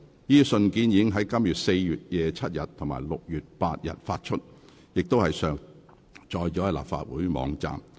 這些信件已於今年4月27日及6月8日發出，並上載立法會網站。